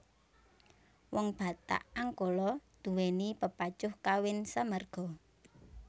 Wong Batak Angkola duweni pepacuh kawin samarga